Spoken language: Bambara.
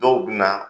Dɔw bɛ na